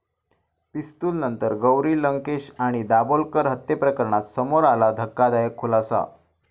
पिस्तूलनंतर गौरी लंकेश आणि दाभोलकर हत्येप्रकरणात समोर आला धक्कादायक खुलासा